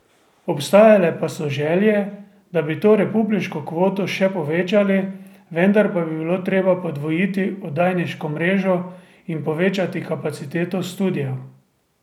Obstajale pa so želje, da bi to republiško kvoto še povečali, vendar pa bi bilo treba podvojiti oddajniško mrežo in povečati kapaciteto studiev.